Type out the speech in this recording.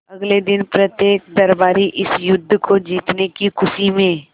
अगले दिन प्रत्येक दरबारी इस युद्ध को जीतने की खुशी में